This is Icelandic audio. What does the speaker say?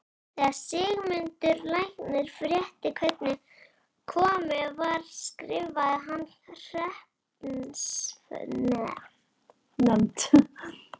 Þegar Sigmundur læknir frétti hvernig komið var skrifaði hann hreppsnefnd